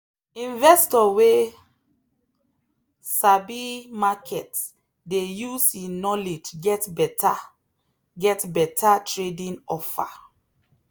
investor wey sabi market dey use e knowledge get better get better trading offer.